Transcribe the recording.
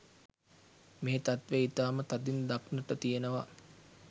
මේ තත්ත්වය ඉතාම තදින් දක්නට තියෙනවා.